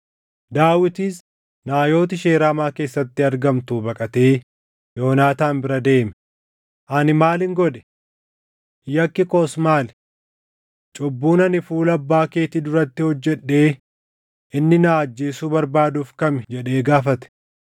Daawitis Naayot ishee Raamaa keessatti argamtuu baqatee Yoonaataan bira deemee, “Ani maalin godhe? Yakki koos maali? Cubbuun ani fuula abbaa keetii duratti hojjedhee inni na ajjeesuu barbaaduuf kami?” jedhee gaafate.